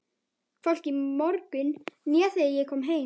Hvorki í morgun né þegar ég kom heim.